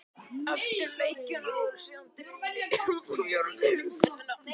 Eftir leikina verður síðan dregið í fjórðu umferðina.